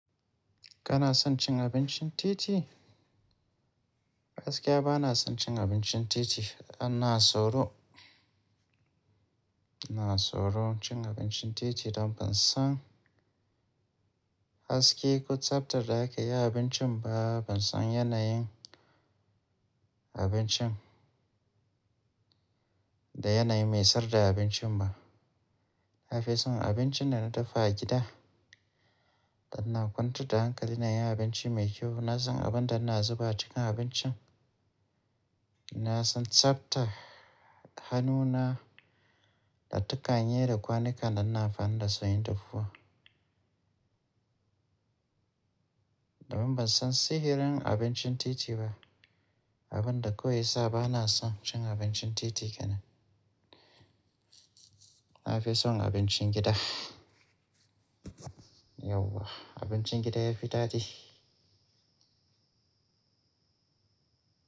Kana son cin abincin titi? Gaskiya ba na son cin abincin titi. Ana soro, ana soro cin abincin titi dan ban san haske ko tsaftar da ake yin abincin ba, ban san yanayin abincin. Da yanayi mai sayar da abincin ba. Na fi son abincin da na dafa a gida, da na kwanta da hankali na yin abinci mai kyau. Na san abin da na zuba cikin abincin, na san tsafta, hannuna da takaye da kwanuka da in amfani dasu inyi dafuwa. Domin ban san sihirin abincin titi ba. Abin da kawai yasa ba na son cin abincin titi kenan. Na fi son abincin gida. Yauwa abincin gida yafi dadi.